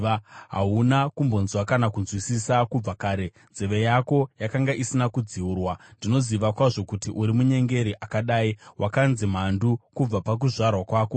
Hauna kumbonzwa kana kunzwisisa; kubva kare nzeve yako yakanga isina kudziurwa. Ndinoziva kwazvo kuti uri munyengeri akadii; wakanzi mhandu kubva pakuzvarwa kwako.